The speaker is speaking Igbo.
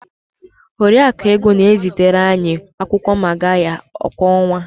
Oriakụ Ego na-ezitere anyị akwụkwọ magarya kwa ọnwa.